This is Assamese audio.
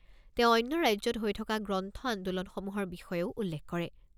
তেওঁ অন্য ৰাজ্যত হৈ থকা গ্ৰন্থ আন্দোলনসমূহৰ বিষয়েও উল্লেখ কৰে।